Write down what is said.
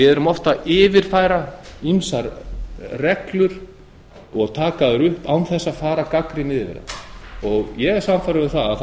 við yfirfærum oft ýmsar reglur og taka þær upp án þess að fara gagnrýnið yfir þær ég er sannfærður um að það